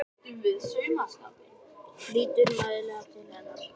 Lítur mæðulega til hennar.